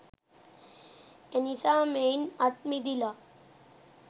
එනිසා මෙයින් අත්මිදිලා